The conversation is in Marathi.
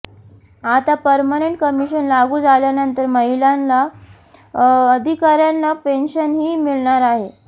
आता पर्मनंट कमिशन लागू झाल्यानंतर महिला अधिकाऱ्यांना पेन्शनही मिळणार आहे